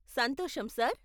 సంతోషం, సార్.